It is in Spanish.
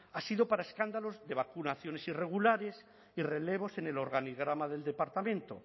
ha sido para escándalos de vacunaciones irregulares y relevos en el organigrama del departamento